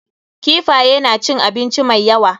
Kifaye na cin abinci mai yawa.